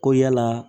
Ko yala